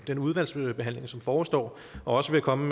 den udvalgsbehandling som forestår også vil komme